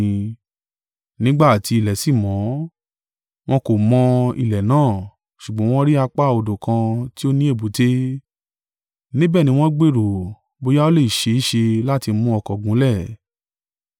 Nígbà tí ilẹ̀ sí mọ́, wọn kò mọ́ ilẹ̀ náà; ṣùgbọ́n wọn rí apá odò kan tí ó ní èbúté, níbẹ̀ ni wọ́n gbèrò, bóyá ó le ṣe é ṣe láti mu ọkọ̀ gúnlẹ̀.